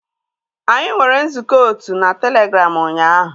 Anyị nwere nzukọ otu na Telegram ụnyaahụ